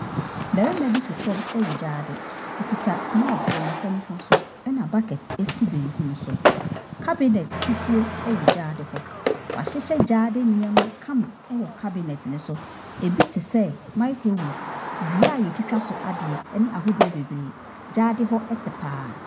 Barima bi te fam wɔ gyaade. Ɔkita mob wɔ ne nsa nifa so, ɛna bucket si benkum so. Cabinet fufuo wɔ gyaade hɔ. Wɔahyehyɛ gyaade neeɛma kama wɔ cabinet no so. Ɛbi te sɛ microwave, dua a wɔtwitwa so adeɛ ne ahodoɔ bebree. Gyaade hɔ te pa ara.